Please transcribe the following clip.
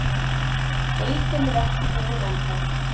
Deildin er ekki búinn ennþá.